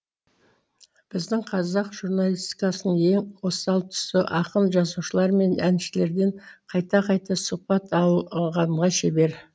біздің қазақ журналистикасының ең осал тұсы ақын жазушылар мен әншілерден қайта қайта сұхбат алғанға шебер